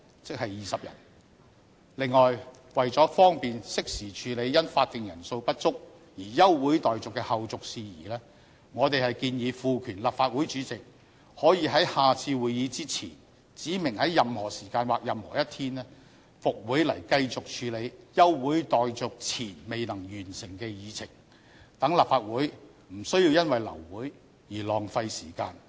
此外，為了方便適時處理因法定人數不足而休會待續的後續事宜，我們建議賦權立法會主席可以在下次會議前，指明在任何時間或任何一天復會來繼續處理休會待續前未能完成的議程，讓立法會不需要因為流會而浪費時間。